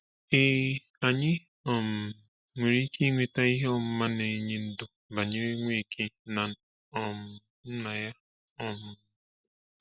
Ee, anyị um nwere ike ịnweta ihe ọmụma na-enye ndụ banyere Nweke na um Nna ya. um